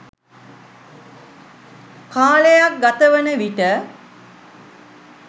කාලයක් ගතවන විට